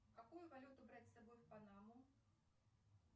какую валюту брать с собой в панаму